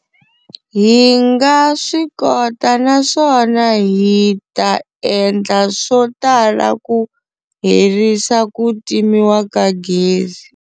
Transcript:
Hi nga swi kota naswona hi ta endla swo tala ku herisa ku timiwa ka gezi.